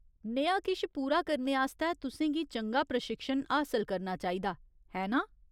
नेहा किश पूरा करने आस्तै तुसें गी चंगा प्रशिक्षण हासल करना चाहिदा, है नां ?